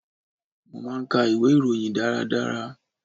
Mo máa ń ka ìwé ìròyìn dára dára.